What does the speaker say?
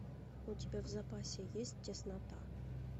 у тебя в запасе есть теснота